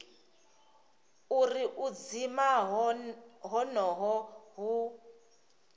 uri u dzima honoho hu